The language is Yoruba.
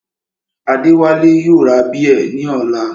Adéwálé yóò ra bíẹ̀ ní ọ̀la